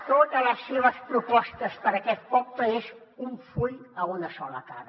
totes les seves propostes per a aquest poble són un full a una sola cara